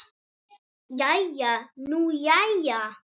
Jæja nú jæja.